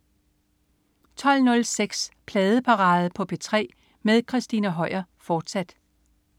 12.06 Pladeparade på P3 med Christina Høier, fortsat